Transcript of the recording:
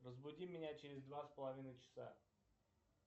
разбуди меня через два с половиной часа